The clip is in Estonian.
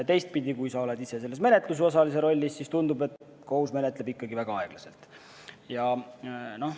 Teistpidi, kui sa oled ise menetlusosalise rollis, siis tundub, et kohus menetleb ikkagi väga aeglaselt.